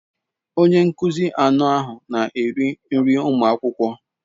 Onye nkuzi anọ ahụ na-eri nri ụmụ akwụkwọ.